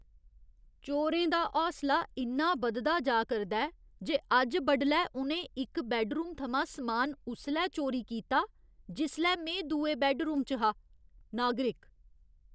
चोरें दा हौसला इन्ना बधदा जा करदा ऐ जे अज्ज बडलै उ'नें इक बैड्डरूम थमां समान उसलै चोरी कीता जिसलै में दुए बैड्डरूम च हा। नागरिक